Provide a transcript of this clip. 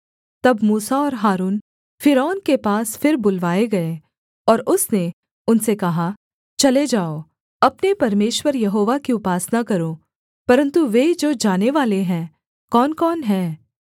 तब मूसा और हारून फ़िरौन के पास फिर बुलवाए गए और उसने उनसे कहा चले जाओ अपने परमेश्वर यहोवा की उपासना करो परन्तु वे जो जानेवाले हैं कौनकौन हैं